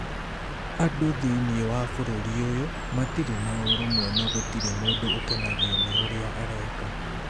Andũ thĩinĩ wa bũrũri ũyũ matirĩ na ũrũmwe na gũtirĩ mũndũ ũkenagio nĩ ũrĩa areka.